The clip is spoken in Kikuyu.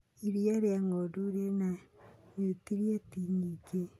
Iria ria ng'ondu rĩna niutrienti nyingĩ.